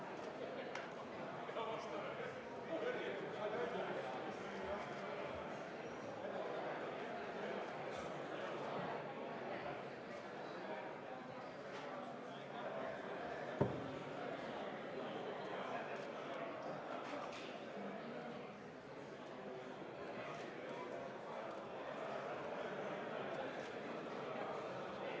Kõigil soovijail on võimalus pärast haamrilööki registreeruda sõnavõtuks vabas mikrofonis.